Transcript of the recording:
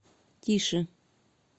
тише